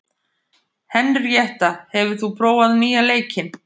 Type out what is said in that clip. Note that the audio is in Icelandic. Henríetta, hefur þú prófað nýja leikinn?